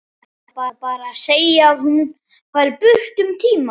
Ætlar bara að segja að hún fari burt um tíma.